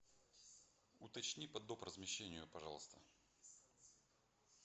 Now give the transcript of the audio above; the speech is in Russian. уточни по доп размещению пожалуйста